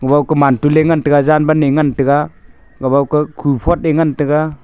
wao ku man tule ngantaga jan ban eh ngantega kabao ka ku phot eh ngan tega.